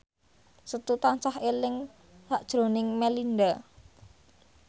Setu tansah eling sakjroning Melinda